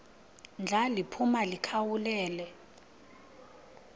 ndla liphuma likhawulele